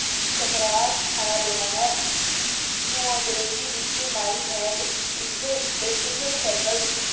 ਚਕਰਾ ਖਾ ਰਿਹਾ ਹੈ ਨੂੰ ਅੰਗਰੇਜ਼ੀ ਵਿੱਚ My head is eating circle